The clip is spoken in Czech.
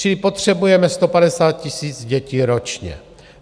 Čili potřebujeme 150 000 dětí ročně.